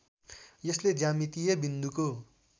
यसले ज्यामितीय बिन्दुको